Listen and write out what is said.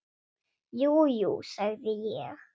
Jú, jú, sagði ég.